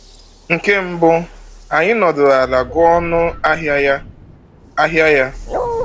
Nke mbụ, anyị nọdụrụ ala gụọ ọnụ ahịa ya. ahịa ya.